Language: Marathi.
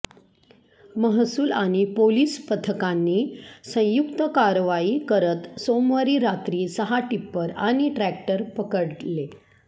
महसूल आणि पोलीस पथकांनी संयुक्त कारवाई करत सोमवारी रात्री सहा टीप्पर आणि ट्रॅक्टर पकडले